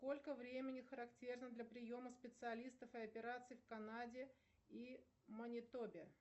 сколько времени характерно для приема специалистов и операций в канаде и манитобе